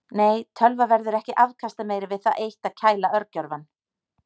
Nei, tölva verður ekki afkastameiri við það eitt að kæla örgjörvann.